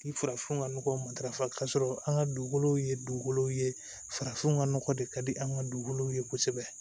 Ni farafinw ka nɔgɔw matarafa k'a sɔrɔ an ka dugukolow ye dugukolow ye farafinw ka nɔgɔ de ka di an ka dugukolow ye kosɛbɛ